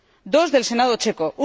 2 del Senado checo